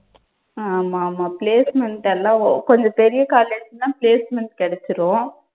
ஆமாமா placement எல்லாம் ஓ கொஞ்சம் பெரிய college ன்னா placement கிடைச்சிரும்.